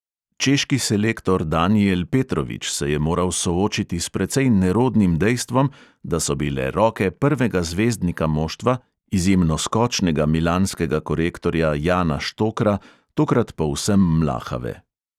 Češki selektor danijel petrovič se je moral soočiti s precej nerodnim dejstvom, da so bile roke prvega zvezdnika moštva, izjemno skočnega milanskega korektorja jana štokra, tokrat povsem mlahave.